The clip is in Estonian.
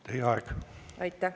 Teie aeg!